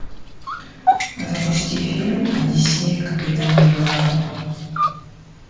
запусти фильм одиссея капитана блада